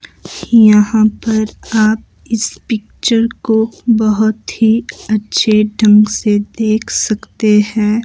यहां पर आप इस पिक्चर को बहोत ही अच्छे ढंग से देख सकते हैं।